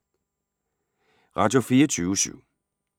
Radio24syv